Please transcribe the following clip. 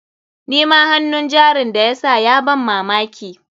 Nima hannun jarin da ya sa ya ban mamaki.